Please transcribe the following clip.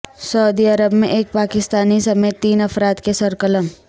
سعودی عرب میں ایک پاکستانی سمیت تین افراد کے سر قلم